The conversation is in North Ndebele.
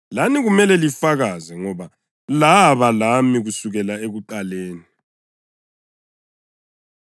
lani kumele lifakaze, ngoba laba lami kusukela ekuqaleni.”